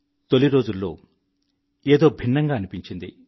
తొలి రోజుల్లో ఏదో భిన్నంగా అనిపించింది